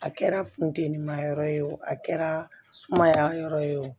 A kɛra funteni ma yɔrɔ ye o a kɛra mayaa yɔrɔ ye o